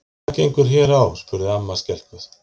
Hvað gengur hér á? spurði amma skelkuð.